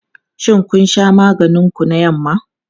Shin kun sha maganin ku na yamma?